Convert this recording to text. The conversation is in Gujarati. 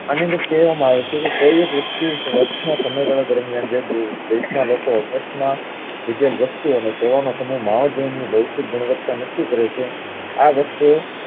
આની અંદર કહેવામાં આવે છે કોઈ એક વસ્તુ સમય ગાળા દરમિયાન જે દેશ ના લોકો પ્રશ્ન લીધેલ વસ્તુ ઓ ને તેઓના સમયે જે ભૌતિક ગુણવત્તા નક્કી કર છે આ વસ્તુ